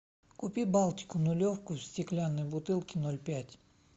купи балтику нулевку в стеклянной бутылке ноль пять